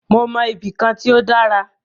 Mó mọ ibì kan tí o dára.